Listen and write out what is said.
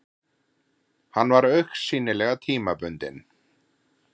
Hann var augsýnilega tímabundinn.